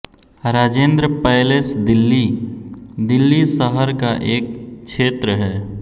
Rajendra palace Delhi Delhi शहर का एक क्षेत्र है